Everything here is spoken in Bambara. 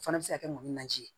O fana bɛ se ka kɛ mun najini ye